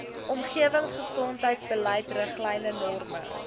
omgewingsgesondheidsbeleid riglyne norme